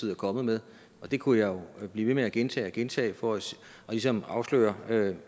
er kommet med det kunne jeg jo blive ved med at gentage og gentage for ligesom at afsløre